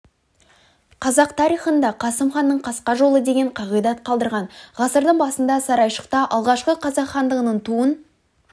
қазақ тарихында қасым ханның қасқа жолы деген қағидат қалдырған ғасырдың басында сарайшықта алғашқы қазақ хандығының туын